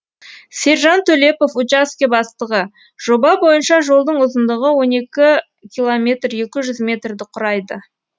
сержан төлепов учаске бастығы жоба бойынша жолдың ұзындығы он екі километр екі жүз метрді құрайды